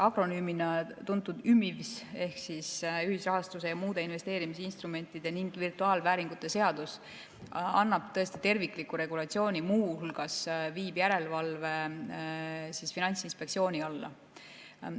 Akronüümina tuntud ÜMIVS ehk ühisrahastuse ja muude investeerimisinstrumentide ning virtuaalvääringute seaduse eelnõu annab tervikliku regulatsiooni, muu hulgas viib järelevalve Finantsinspektsiooni alla.